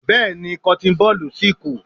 Bẹ́ẹ̀ni, cotton ball si kù.